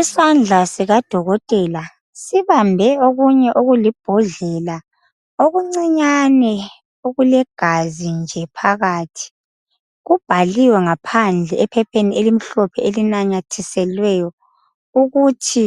Isandla sikadokotela sibambe okunye okulibhodlela okuncinyane okulegazi nje phakathi. Kubhaliwe ngaphandle ephepheni elimhlophe elinanyathiselweyo ukuthi